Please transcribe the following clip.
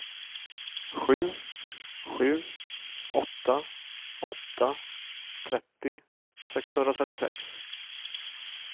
sju sju åtta åtta trettio sexhundratrettiosex